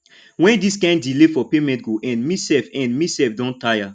wen dis kin delay for payment go end me sef end me sef don tire